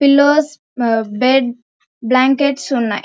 Pillows beds blankets ఉన్నాయి.